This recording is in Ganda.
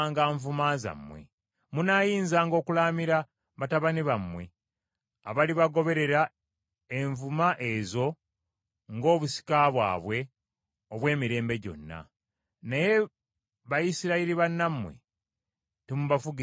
Munaayinzanga okulaamira batabani bammwe abalibagoberera envuma ezo ng’obusika bwabwe obw’emirembe gyonna. Naye Bayisirayiri bannammwe temubafugisanga bukambwe.